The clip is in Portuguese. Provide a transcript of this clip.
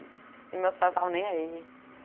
E meus pais não estavam nem aí,